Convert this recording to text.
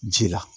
Ji la